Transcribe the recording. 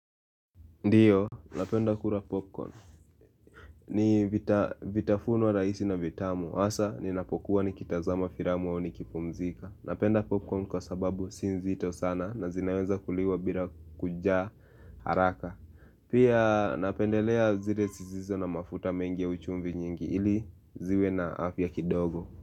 Ndiyo, napenda kula popcorn ni vitafuno rahisi na vitamu. Hasa, ninapokuwa nikitazama filamu ama nikipumzika. Napenda popcorn kwa sababu si nzito sana na zinaweza kuliwa bila kujaa haraka. Pia napendelea zile zisizo na mafuta mengi au chumvi nyingi ili ziwe na afya kidogo.